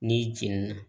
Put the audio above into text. N'i jɛnina